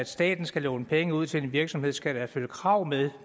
staten skal låne penge ud til en virksomhed så skal der følge krav med